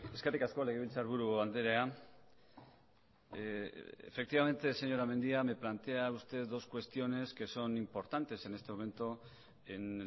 eskerrik asko legebiltzarburu andrea efectivamente señora mendia me plantea usted dos cuestiones que son importantes en este momento en